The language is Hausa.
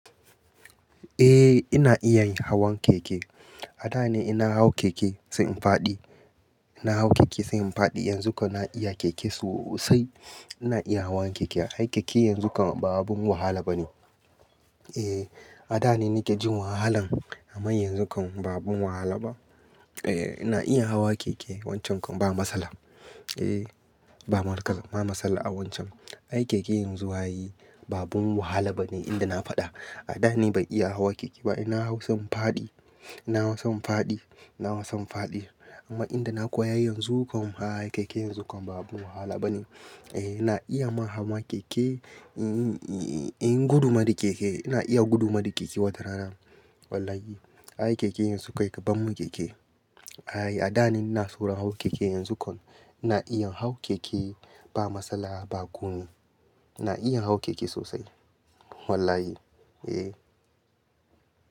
Eh ina iya yin hawan keke. A da ne in na hau keke sai in fadi, ina hawa keke sai in fadi. Yanzu kuwa na iya keke sosai. Ina iya hawan keke. Ai keke yanzu kam ba abun wahala bane. Eh a da ne nake jin wahalan amma yanzu kuma ba abun wahala ba. Eh ina iya hawa keke wancan kuma ba matsala. Eh ba matsala a wancan. Ai keke yanzu ai ba abun wahala bane inda na faɗa. A da ne ban iya hawa keke ba, in na hau sai in faɗi, in na hau sai in faɗi, in na hau sai in faɗi. Amma inda na koya yanzu kwam fa, keke yanzu kwam ba abun wahala bane. Eh ina iya mahama keke, in-in-in gudu ma da keke, ina iya gudu ma da keke wata rana. Wallahi. Ai keke yanzu kai ka banmun keke. Ai a da ne ina tsoron in hau keke, yanzu kwan, ina iya in hau keke ba masala, ba kome. Ina iya in hau keke sosai. Wallahi. Eh.